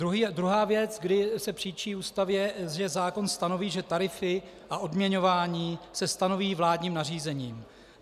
Druhá věc, kdy se příčí Ústavě, že zákon stanoví, že tarify a odměňování se stanoví vládním nařízením.